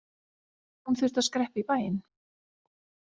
Hún þurfti að skreppa í bæinn.